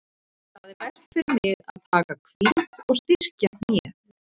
Það er best fyrir mig að taka hvíld og styrkja hnéð.